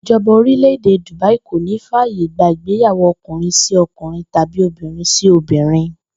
Ìjo̩ba orílè̩-èdè Dùbáí kò ní fàyè gba ìgbéyàwó o̩kùnrin-sí-o̩kùnrin tàbí obìnrin-sí-obìnrin